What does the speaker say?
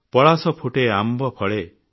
ପଳାଶ ଫୁଟେ ଆମ୍ବ ଫଳେ